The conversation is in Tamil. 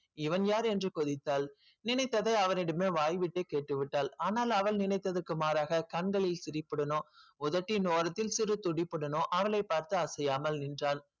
இவன் யார் என்று கொதித்தால் நினைத்தை அவரிடமே வாய் விட்டு கேட்டுவிட்டால் அனால் அவள் நினைத்தத்துக்கு மாறாக கந்தல் பிடிபடனும் உதட்டின் ஓரத்தில் சிறு சிலிப்புடனும் அவளை பார்த்து அசையாமல் நின்றாள்